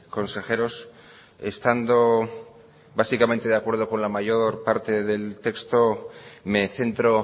consejeros estando básicamente de acuerdo con la mayor parte del texto me centro